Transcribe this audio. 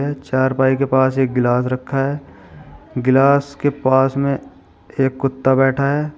चारपाई के पास एक गिलास रखा है गिलास के पास में एक कुत्ता बैठा है।